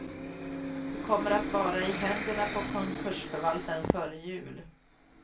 Det kommer att vara i händerna på konkursförvaltaren före jul.